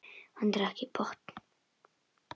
Hann drakk í botn.